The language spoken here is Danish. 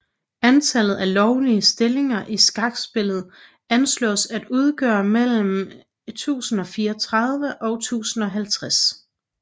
Antallet af lovlige stillinger i skakspillet anslås at udgøre mellem 1043 og 1050